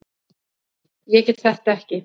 Ég get þetta ekki.